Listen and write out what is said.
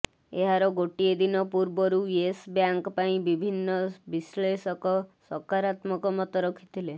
ଏହାର ଗୋଟିଏ ଦିନ ପୂର୍ବରୁ ୟେସ୍ ବ୍ୟାଙ୍କ ପାଇଁ ବିଭିନ୍ନ ବିଶ୍ଲେଷକ ସକାରାତ୍ମକ ମତ ରଖିଥିଲେ